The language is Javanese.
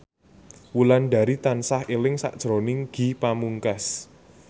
Wulandari tansah eling sakjroning Ge Pamungkas